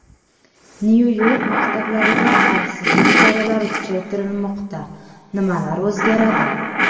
Nyu-York maktablarida xavfsizlik choralari kuchaytirilmoqda: nimalar o‘zgaradi?.